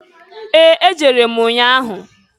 Ee! Ejere m nnya ahụ.